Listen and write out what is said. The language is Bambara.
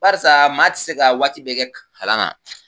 Barisa maa tɛ se ka waati bɛ kɛ kalan na